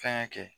Fɛnkɛ kɛ